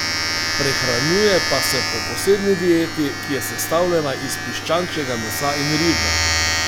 Prehranjuje pa se po posebni dieti, ki je sestavljena iz piščančjega mesa in riža.